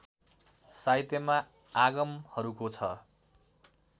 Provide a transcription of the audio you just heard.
साहित्यमा आगमहरूको छ